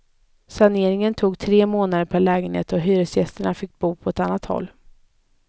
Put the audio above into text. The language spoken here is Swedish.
Saneringen tog tre månader per lägenhet och hyresgästerna fick då bo på annat håll.